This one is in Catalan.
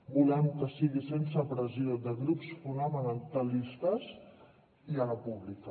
volem que sigui sense pressió de grups fonamentalistes i a la pública